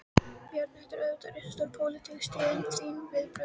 Bjarni, þetta eru auðvitað risastór, pólitísk tíðindi, þín viðbrögð?